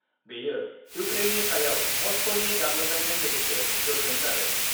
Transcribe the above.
बेयो इउक्रेननि सायाव मस्क'नि गाग्लोबनायजों लोगोसे गोख्रों जादों।